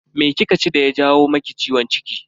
Me kika ci daya jawo maki ciwon ciki?